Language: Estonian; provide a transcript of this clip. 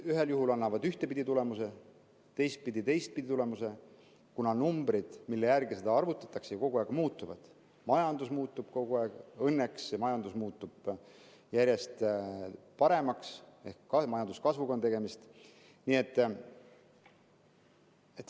Ühel juhul annavad need ühtpidi tulemuse, teisel juhul annavad teistpidi tulemuse, kuna numbrid, mille järgi arvutatakse, kogu aeg muutuvad, majandus muutub kogu aeg, õnneks muutub majandus järjest paremaks ehk tegemist on majanduskasvuga.